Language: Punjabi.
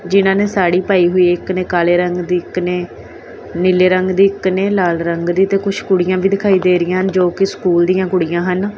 ਜਿਨ੍ਹਾਂ ਨੇ ਸਾੜੀ ਪਾਈ ਹੋਈ ਏ ਇੱਕ ਨੇ ਕਾਲੇ ਰੰਗ ਦੀ ਇੱਕ ਨੇ ਨੀਲੇ ਰੰਗ ਦੀ ਇੱਕ ਨੇ ਲਾਲ ਰੰਗ ਦੀ ਤੇ ਕੁਛ ਕੁੜੀਆਂ ਵੀ ਦਿਖਾਈ ਦੇ ਰਹੀਆਂ ਹਨ ਜੋ ਕਿ ਸਕੂਲ ਦੀਆਂ ਕੁੜੀਆਂ ਹਨ।